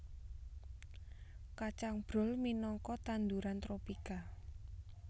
Kacang brol minangka tanduran tropika